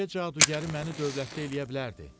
Meşə cadugəri məni dövlətdə eləyə bilərdi.